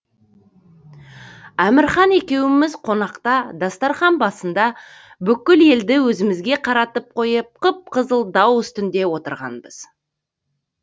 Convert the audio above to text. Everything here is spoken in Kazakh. әмірхан екеуміз қонақта дастарқан басында бүкіл елді өзімізге қаратып қойып қып қызыл дау үстінде отыратынбыз